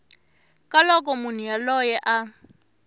ka loko munhu yoloye a